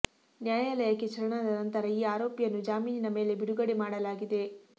ನ್ಯಾಯಾಲಯಕ್ಕೆ ಶರಣಾದ ನಂತರ ಈ ಆರೋಪಿಯನ್ನು ಜಾಮೀನಿನ ಮೇಲೆ ಬಿಡುಗಡೆ ಮಾಡಲಾಗಿದೆ